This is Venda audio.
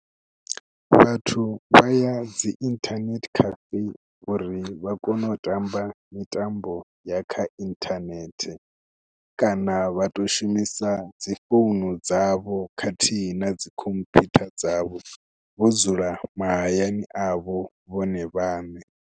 Vhathu vha ya dzi inthanethe cafe uri vha kone u tamba mitambo ya kha inthanethe kana vha tou shumisa dzi founu dzavho khathihi na dzi khompyutha dzavho vho dzula mahayani avho vhone vhaṋe.